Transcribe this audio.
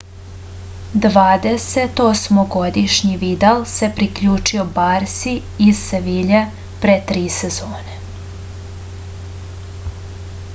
dvadesetosmogodišnji vidal se priključio barsi iz sevilje pre tri sezone